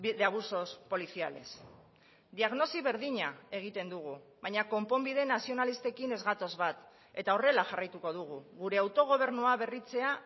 de abusos policiales diagnosi berdina egiten dugu baina konponbide nazionalistekin ez gatoz bat eta horrela jarraituko dugu gure autogobernua berritzea